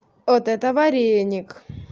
вот это вареник